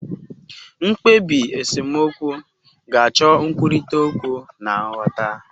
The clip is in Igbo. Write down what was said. mkpebi esemokwu ga-acho nkwurita okwu na nghota